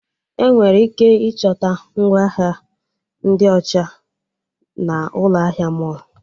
Enwere ike ịchọta ngwa ahịa ndị ọcha na'Ụlọ ahịa mọlụ